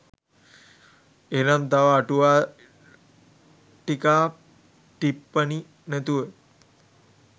එහෙනම් තව අටුවා ටිකා ටිප්පනි නැතුව